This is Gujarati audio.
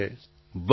પ્રધાનમંત્રી વાહ